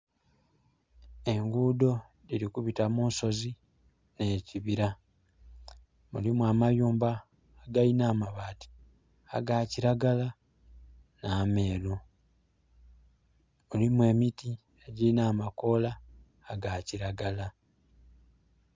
Engudho dhiri kubita munsozi ne kibira, mulimu amayumba agalina amabati agakilagala na meeru. Mulimu emiti egirina amakola agakilagala.